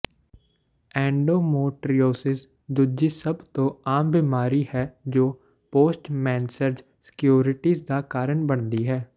ਐਂਡੋਮੋਟਰੀਓਸਿਸ ਦੂਜੀ ਸਭ ਤੋਂ ਆਮ ਬਿਮਾਰੀ ਹੈ ਜੋ ਪੋਸਟਮੈਂਸਰਜ ਸਕਿਊਰਿਟੀਜ਼ ਦਾ ਕਾਰਨ ਬਣਦੀ ਹੈ